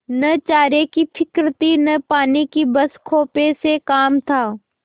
न चारे की फिक्र थी न पानी की बस खेपों से काम था